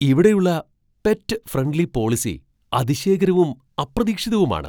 ഇവിടെയുള്ള pet friendly policy അതിശയകരവും അപ്രതീക്ഷിതവുമാണ്!